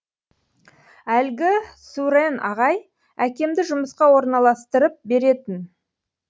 әлгі сүрэн ағай әкемді жұмысқа орналастырып беретін